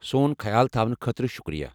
سون خیال تھاونہٕ خٲطرٕ شُکریہ۔